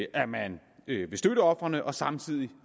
at man vil støtte ofrene og samtidig